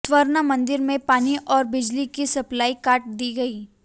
स्वर्ण मंदिर में पानी और बिजली की सप्लाई काट दी गई